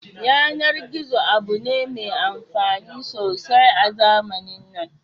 Yanar gizo abu ne mai amfani sosai a zamanin nan